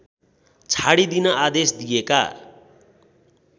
छाडिदिन आदेश दिएका